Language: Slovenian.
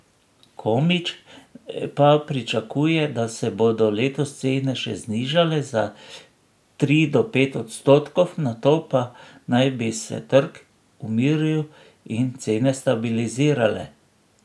Komić pa pričakuje, da se bodo letos cene še znižale za tri do pet odstotkov, nato pa naj bi se trg umiril in cene stabilizirale.